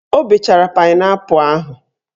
O bechara painaipu ahụ